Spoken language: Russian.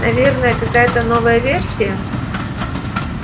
наверное какая-та новая версия